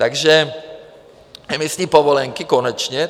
Takže emisní povolenky konečně.